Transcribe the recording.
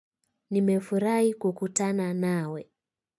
Nimefurahi kukutana nawe.